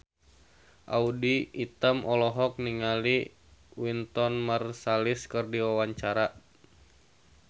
Audy Item olohok ningali Wynton Marsalis keur diwawancara